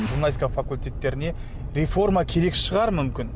журналистика факультеттеріне реформа керек шығар мүмкін